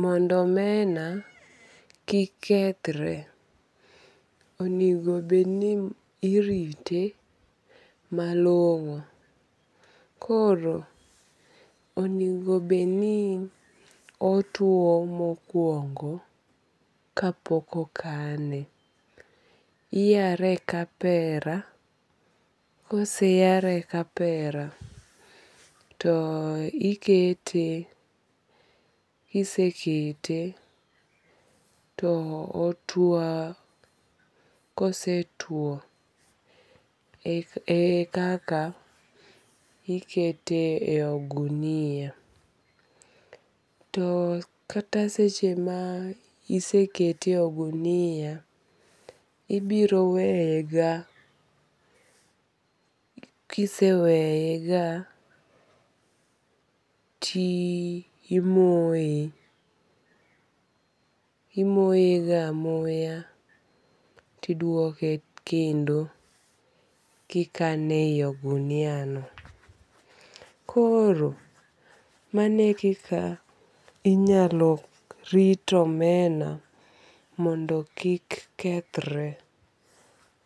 mondo omena kik kethre onego bed ni irite malong'o. Koro, onego bed ni otuo mokuongo kapok okane. Iyare e kapera. Koseyare e kapera to ikete. Kisekete to otuo. Kose tuo ekaka ikete e ogunia. To kata seche ma isekete e ogunia ibiro weye ga. Kiseweye ga timoye. Imoye ga amoya tiduoke kendo kikane e yi ogunia no. Koro mano kika inyalo rit omena mondo kik kethre.